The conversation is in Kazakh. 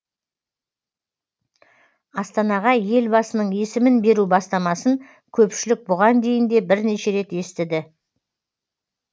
астанаға елбасының есімін беру бастамасын көпшілік бұған дейін де бірнеше рет естіді